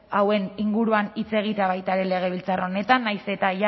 hauen inguruan hitz egitea baita ere legebiltzar honetan nahiz eta